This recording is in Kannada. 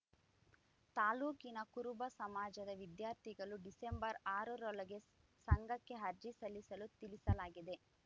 ತಾಲೂಕಿನ ಕುರುಬ ಸಮಾಜದ ವಿದ್ಯಾರ್ಥಿಗಳು ಡಿಸೆಂಬರ್ ಆರರೊಳಗೆ ಸಂಘಕ್ಕೆ ಅರ್ಜಿ ಸಲ್ಲಿಸಲು ತಿಳಿಸಲಾಗಿದೆ